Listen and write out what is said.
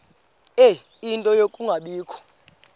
ie nto yokungabikho